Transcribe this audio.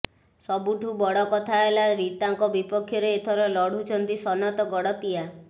ସବୁଠୁ ବଡକଥା ହେଲା ରୀତାଙ୍କ ବିପକ୍ଷରେ ଏଥର ଲଢୁଛନ୍ତି ସନତ ଗଡତିଆ